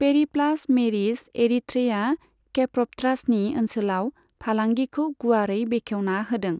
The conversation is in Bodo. पेरिप्लास मेरिस एरिथ्रेईआ केप्रबट्रासनि ओनसोलाव फालांगिखौ गुवारै बेखेवना होदों।